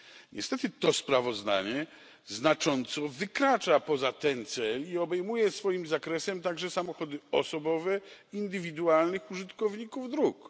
Niestety to sprawozdanie znacząco wykracza poza ten cel i obejmuje swoim zakresem także samochody osobowe indywidualnych użytkowników dróg.